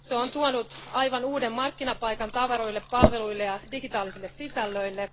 Se on tuonut aivan uuden markkinapaikan tavaroille, palveluille ja digitaalisille sisällöille.